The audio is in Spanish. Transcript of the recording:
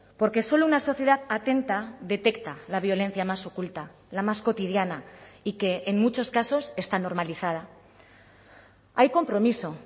porque solo una sociedad atenta detecta la violencia más oculta la más cotidiana y que en muchos casos está normalizada hay compromiso